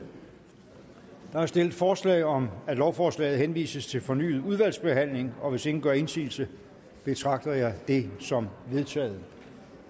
der er stillet forslag om at lovforslaget henvises til fornyet udvalgsbehandling og hvis ingen gør indsigelse betragter jeg det som vedtaget